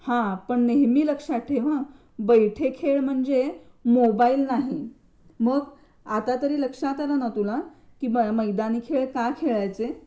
हा पण नेहमी लक्षात ठेव हा बैठे खेळ म्हणजे मोबाईल नाही मग, आतातरी लक्षात आलं ना तुला, की मैदानी खेळ का खेळायचे?